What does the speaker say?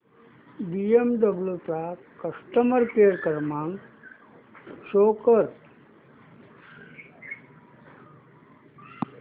BMW चा customer care क्रमांक show कर